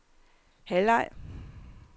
halvleg